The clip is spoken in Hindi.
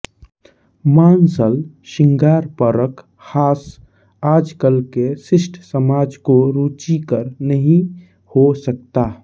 मांसल शृंगारपरक हास आजकल के शिष्ट समाज को रुचिकर नहीं हो सकता